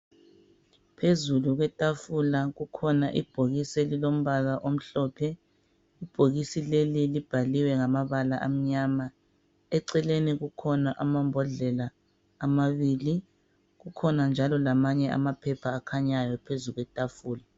Phezulu kwetafula kukhona ibhokisi elilombala omhlophe ibhokisi leli libhaliwe ngamabala amnyama eceleni kukhona amambodlela amabili kukhona njalo lamaphepha akhanyayo phezu kwetafula.